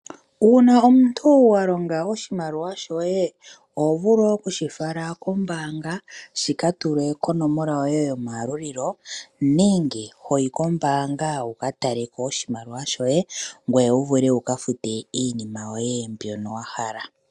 Uuna omuntu wa longa oshimaliwa shoye oho vulu okushifala kombanga shi katulwe konomola yoye yomayalulilo nenge hoyi kombaanga wuka taleko oshimaliwa shoye ongoye owu vule wuka fute iinima yoye mbyono wa hala.